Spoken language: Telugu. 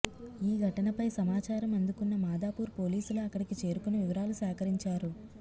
ఈ ఘటనపై సమాచారం అందుకున్న మాదాపూర్ పోలీసులు అక్కడికి చేరుకుని వివరాలు సేకరించారు